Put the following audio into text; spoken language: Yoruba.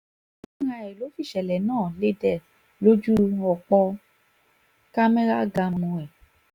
fúnra ẹ̀ ló fìṣẹ̀lẹ̀ náà lédè lójú ọ̀pọ̀ camera gaàmù ẹ̀